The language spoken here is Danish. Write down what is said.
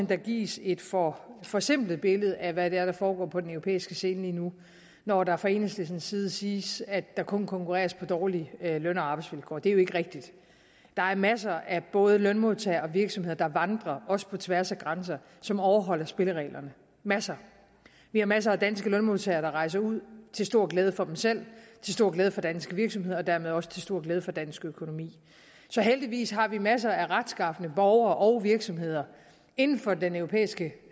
der gives et for forsimplet billede af hvad der foregår på den europæiske scene lige nu når der fra enhedslistens side siges at der kun konkurreres på dårlige løn og arbejdsvilkår det er jo ikke rigtigt der er af masser af både lønmodtagere og virksomheder der vandrer også på tværs af grænser som overholder spillereglerne masser vi har masser af danske lønmodtagere der rejser ud til stor glæde for dem selv til stor glæde for danske virksomheder og dermed også til stor glæde for dansk økonomi så heldigvis har vi masser af retskafne borgere og virksomheder inden for den europæiske